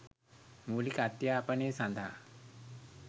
මූලික අධ්‍යාපනය සඳහා